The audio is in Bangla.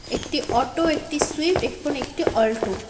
একটি অটো একটি সুইফট একটি অল্ট --